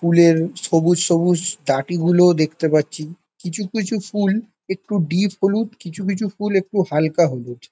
ফুলের সবুজ সবুজ ডাটি গুলো দেখতে পাচ্ছি। কিছু কিছু ফুল একটু ডিপ হলুদ কিছু কিছু ফুল একটু হালকা হলুদ।